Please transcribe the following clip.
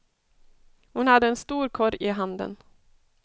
Hon hade en stor korg i handen.